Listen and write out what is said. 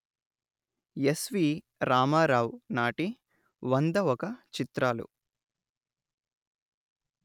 ఎస్విరామారావు నాటి వంద ఒక చిత్రాలు